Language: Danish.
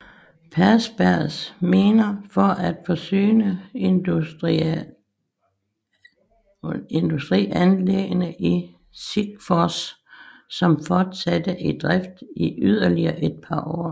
Persbergs miner for at forsyne industrianlæggene i Sikfors som fortsatte i drift i yderligere et par år